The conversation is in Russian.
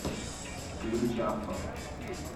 ключавто